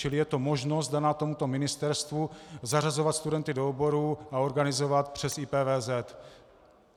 Čili je to možnost daná tomuto ministerstvu zařazovat studenty do oborů a organizovat přes IPVZ.